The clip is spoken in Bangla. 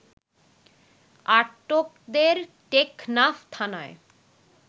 আটকদের টেকনাফ থানায়